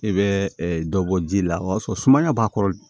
I bɛ dɔ bɔ ji la o b'a sɔrɔ sumaya b'a kɔrɔ